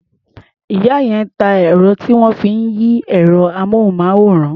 Ìyá yẹn ń ta ẹ̀rọ tí wọ́n fi ń yí ẹ̀rọ-amóhùnmáwòrán.